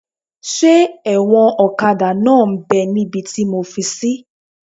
Ṣé ẹ̀wọ̀n ọ̀kadà náà m bẹ́ níbi tí mo fi sí?